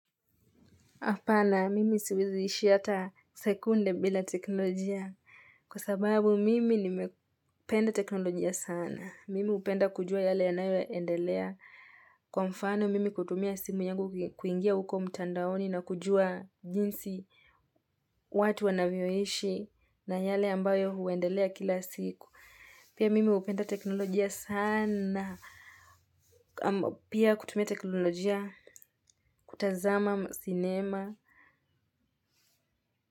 Apana, mimi siwezi ishi hata sekunde bila teknolojia. Kwa sababu, mimi nimependa teknolojia sana. Mimi hupenda kujua yale yanayoendelea. Kwa mfano, mimi kutumia simu nyangu kuingia uko mtandaoni na kujua jinsi watu wanavyoishi na yale ambayo huendelea kila siku. Pia mimi hupenda teknolojia sana. Pia kutumia teknolojia kutazama sinema.